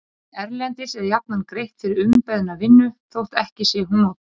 En erlendis er jafnan greitt fyrir umbeðna vinnu þótt ekki sé hún notuð.